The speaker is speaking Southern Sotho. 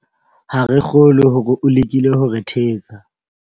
Ha ke kgolwe hore o lekile ho re thetsa.